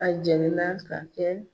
A jennina ka kɛ